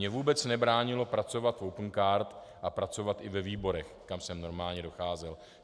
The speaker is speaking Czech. Mně vůbec nebránilo pracovat v Opencard a pracovat i ve výborech, kam jsem normálně docházel.